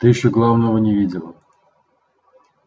ты ещё главного не видела